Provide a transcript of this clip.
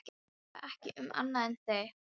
Ég hugsa ekki um annað en þig.